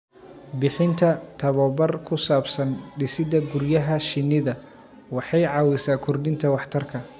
Bixinta tabobar ku saabsan dhisidda guryaha shinnida waxay caawisaa kordhinta waxtarka